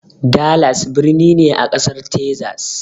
Dallas birni ne a Ƙasar Tezas